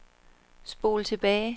spol tilbage